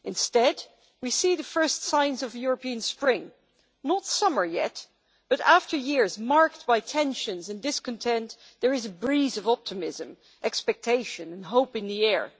Instead, we see the first signs of a European spring, not summer yet, but after years marked by tensions and discontent there is a breeze of optimism, expectation and hope in the air.